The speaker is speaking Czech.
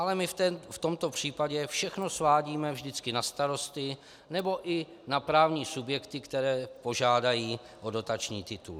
Ale my v tomto případě všechno svádíme vždycky na starosty nebo i na právní subjekty, které požádají o dotační titul.